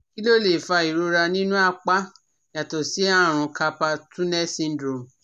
Kí ló lè fa ìrora nínú apá yàtọ̀ sí àrùn carpal tunnel syndrome